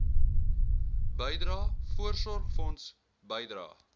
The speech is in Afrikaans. bydrae voorsorgfonds bydrae